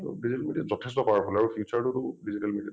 so digital media যথেষ্ট powerful আৰু future টোতো digital media ত